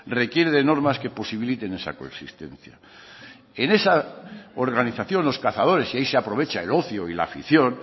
requiere de normas que posibiliten esa coexistencia en esa organización los cazadores y ahí se aprovecha el ocio y la afición